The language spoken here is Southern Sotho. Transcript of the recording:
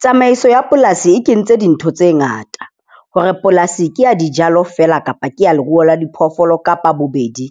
Tsamaiso ya polasi e kentse dintho tse ngata hore polasi ke ya dijalo feela kapa ke ya leruo la diphoofolo kapa bobedi.